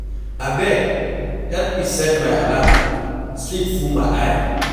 Abeg help me set my alarm, sleep full my eye.